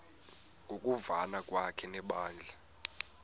ngokuvana kwakhe nebandla